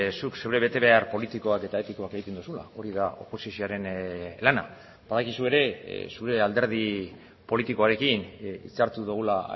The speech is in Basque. zuk zure betebehar politikoak eta etikoak egiten duzula hori da oposizioaren lana badakizu ere zure alderdi politikoarekin hitzartu dugula